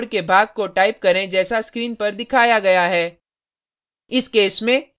निम्नलिखित कोड के भाग को टाइप करें जैसा स्क्रीन पर दिखाया गया है